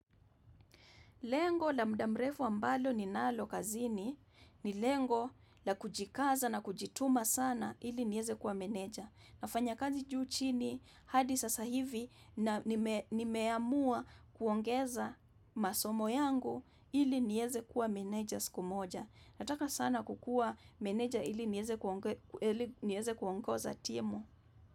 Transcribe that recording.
Lengo la muda mrefu ambalo ni nalo kazini ni lengo la kujikaza na kujituma sana ili nieze kuwa meneja. Nafanya kazi juu chini hadi sasa hivi na nimeamua kuongeza masomo yangu ili nieze kuwa meneja siku moja. Nataka sana kukuwa meneja ili nieze kuongoza timu.